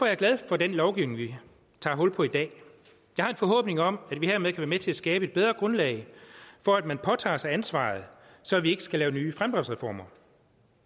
jeg glad for den lovgivning vi tager hul på i dag jeg har en forhåbning om at vi hermed kan være med til at skabe et bedre grundlag for at man påtager sig ansvaret så vi ikke skal lave nye fremdriftsreformer